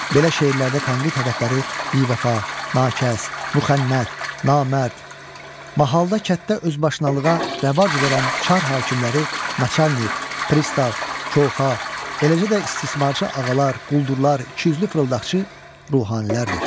Belə şeirlərdə tənqid hədəfləri bivəfa, nakəs, müxənnət, namərd, mahalda kənddə özbaşınalığa rəvac verən çar hakimləri, naçalnik, pristav, koxxa, eləcə də istismarçı ağalar, quldurlar, ikiüzlü fırıldaqçı ruhanilərdir.